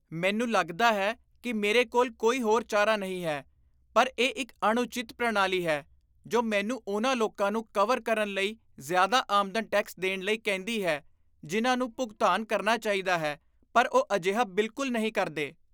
ਮੈਨੂੰ ਲੱਗਦਾ ਹੈ ਕਿ ਮੇਰੇ ਕੋਲ ਕੋਈ ਹੋਰ ਚਾਰਾ ਨਹੀਂ ਹੈ, ਪਰ ਇਹ ਇੱਕ ਅਣਉਚਿਤ ਪ੍ਰਣਾਲੀ ਹੈ ਜੋ ਮੈਨੂੰ ਉਨ੍ਹਾਂ ਲੋਕਾਂ ਨੂੰ ਕਵਰ ਕਰਨ ਲਈ ਜ਼ਿਆਦਾ ਆਮਦਨ ਟੈਕਸ ਦੇਣ ਲਈ ਕਹਿੰਦੀ ਹੈ ਜਿਨ੍ਹਾਂ ਨੂੰ ਭੁਗਤਾਨ ਕਰਨਾ ਚਾਹੀਦਾ ਹੈ ਪਰ ਉਹ ਅਜਿਹਾ ਬਿਲਕੁਲ ਨਹੀਂ ਕਰਦੇ।